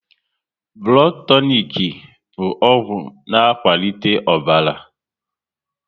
Blood tonik bụ ọgwụ na akwalite ọbara